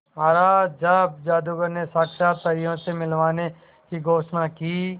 महाराज जब जादूगर ने साक्षात परियों से मिलवाने की घोषणा की